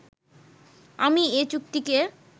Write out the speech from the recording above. আমি এ চুক্তিকে